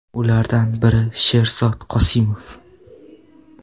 Ulardan biri Sherzod Qosimov.